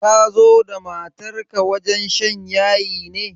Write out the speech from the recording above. Ka zo da matar wajen shan yayi ne?